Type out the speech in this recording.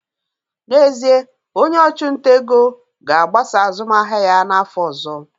N'ezie, onye ọchụnta ego ga-agbasa azụmahịa ya n'afọ ọzọ